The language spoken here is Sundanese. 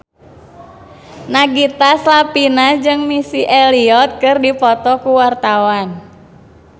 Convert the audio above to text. Nagita Slavina jeung Missy Elliott keur dipoto ku wartawan